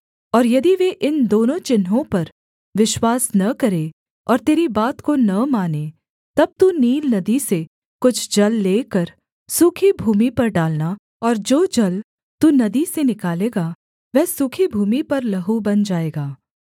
और यदि वे इन दोनों चिन्हों पर विश्वास न करें और तेरी बात को न मानें तब तू नील नदी से कुछ जल लेकर सूखी भूमि पर डालना और जो जल तू नदी से निकालेगा वह सूखी भूमि पर लहू बन जाएगा